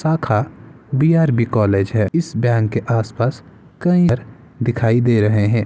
शाखा BRB. College है। इस बैंक के आस-पास कई दिखाई दे रहे हैं।